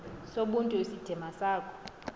sobuntu isidima sakho